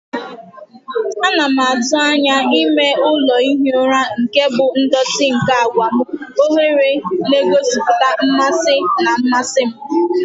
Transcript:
Ana m atụ anya ime ụlọ ihi ụra nke bụ ndọtị nke àgwà m, oghere na-egosipụta mmasị na mmasị m.